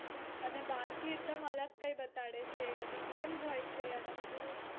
અને બહાર થી એકદમ અલગ કઈ બતાડે છે બધી games હોય છે અને બધું